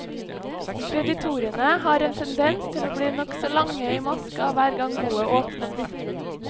Kreditorene har en tendens til å bli nokså lange i maska hver gang boet åpnes.